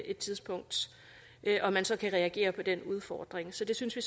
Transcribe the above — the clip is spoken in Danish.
et tidspunkt og man så kan reagere på den udfordring så det synes vi